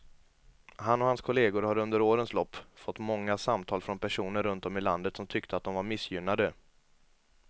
Han och hans kolleger har under årens lopp fått många samtal från personer runt om i landet som tyckte att de var missgynnade.